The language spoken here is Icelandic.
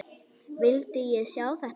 Vildi ég sjá þetta?